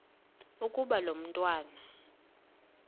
ukuba lo mntwana